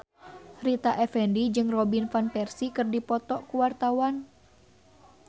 Rita Effendy jeung Robin Van Persie keur dipoto ku wartawan